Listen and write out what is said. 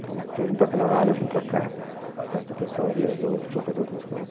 Então foi um para cada lado, eu vim para cá, o resto do pessoal viajou, foi fazer outras coisas.